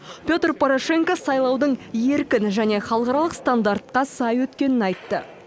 петр порошенко сайлаудың еркін және халықаралық стандартқа сай өткенін айтты